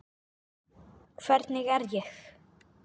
Hvernig er ég?